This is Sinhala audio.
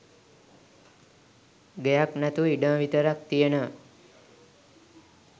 ගෙයක් නැතුව ඉඩම විතරක් තියෙනවා